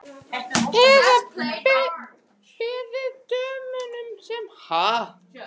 Eða beðið dömuna sem hann er með að hringja.